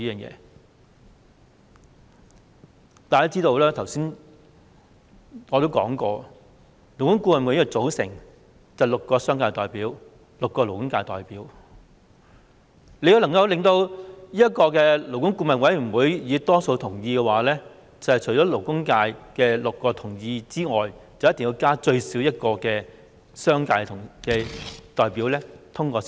我剛才說過，勞顧會由6名商界代表及6名勞工界代表組成，要獲得勞顧會的多數同意，除了勞工界6名代表同意外，至少要加1名商界代表同意。